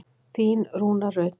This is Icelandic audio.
Þín Rúna Rut.